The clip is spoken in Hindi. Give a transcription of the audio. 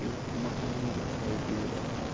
एक मकान दिखाई दे रहा है।